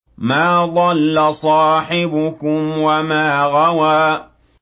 مَا ضَلَّ صَاحِبُكُمْ وَمَا غَوَىٰ